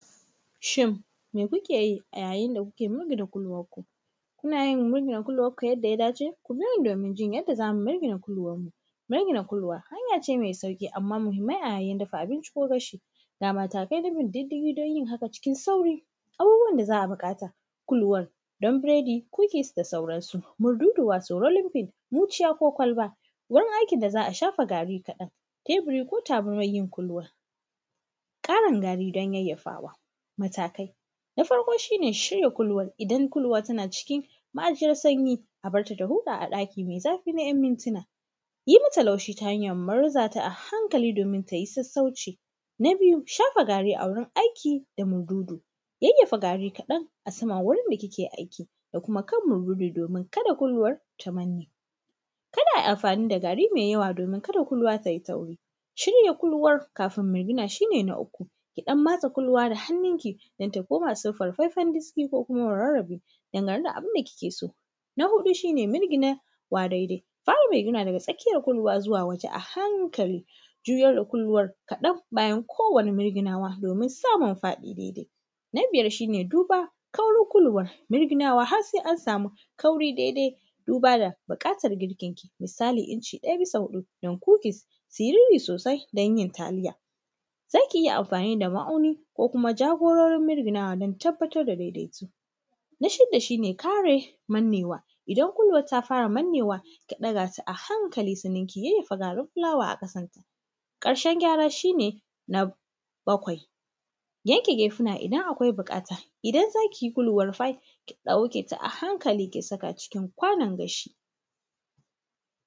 Shin me kuke yi a yayin da kuke mirgina da kuluwarku? Kuna yin mirgina kuluwarku yadda ya dace? Ku biyo ni domin jin yadda za mu mirgina kuluwarmu. Mirgina kuluwa hanya ce mai sauƙi, amma muhimmai a yayin dafa abinci ko gashi. Ga mataki na bin diddigi don yin haka cikin sauri. Abubuwan da za a buƙata: kuluwar don biredi ko yeast da sauransu. Murduduwa su limfin, muciya ko kwalba, wurin aikin da za a shafa gari kaɗan, teburi ko tabarmar yin kuluwar, ƙarin gari don yayyafawa. Matakai: na farko shi ne shirya kuluwar idan kuluwar tana cikin ma’aji na sanyi, a bar ta ta huta a ɗaki mai zafi na ‘yan mintuna. Yi mata laushi ta hanyar murza ta a hankali domin ta yi sassauci. Na biyu, shafa gari a wurin aiki da mududu: yayyafa gari kaɗan a saman wurin da kike aiki da kuma kan mururi domin kada kuluwar ta manne. Kada a yi amfani da gari mai yawa domin kada kuluwa ta yi tauri. Shirya kuluwar kafin mulmula shi ne na uku, ki ɗan matsa kuluwa da hannunki don ta koma siffar faifan diski ko kuma murarrabe dangane da abin da kike so. Na huɗu shi ne mirginawa daidai. Ta yiwu daga tsakiyar kuluwa zuwa waje a hankali, juyo da kuluwar kaɗan bayan kowane mirginawa domin samun faɗi daidai. Na biyar shi ne duba kaurin kuluwar, mirginawa har sai an samu daidai duba da buƙatar girkinki. Misali, inci ɗaya bisa huɗu don cookies su yi ruri sosai don yin taliya. Za ki iya amfani da ma’auni ko kuma jagororin mirginawa don tabbatar da daidaito. Na shida shi ne kare mannewa: idan kuluwar ta fara mannewa, ta ɗaga su a hankali sannan ki yayyafa garin fulawa a ƙasanta. Ƙarshen gyara shi ne bakwai: yanke gefuna idan akwai buƙata, idan za ki yi kuluwar pie, ki ɗauke ta a hankali, ki saka ta a cikin kwanon gashi